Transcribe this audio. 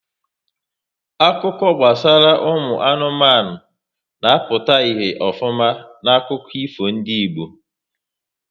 Akụkọ gbasara ụmụ anụmanụ na-apụta ihe ofuma n'akụkọ ifo ndị Igbo